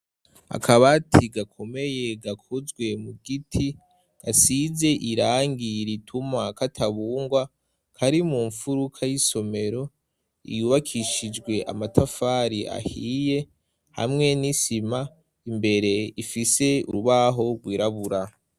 akabati gakomeye gakozwe mu giti gasize irangi rituma katabungwa kari mu mfuruka y'isomero iyubakishijwe amatafari ahiye hamwe n'isima imbere ifise urubaho rwirabura